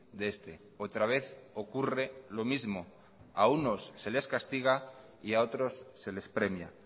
de este otra vez ocurre lo mismo a unos se les castiga y a otros se les premia